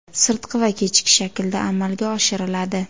sirtqi va kechki shaklda amalga oshiriladi.